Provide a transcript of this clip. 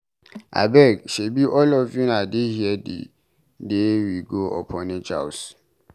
Abeg, shebi all of una dey here the day we go orphanage house.